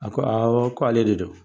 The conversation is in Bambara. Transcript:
A ko awa k'ale de don